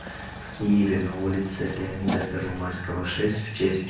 в киеве на улице леонида первомайского шесть в честь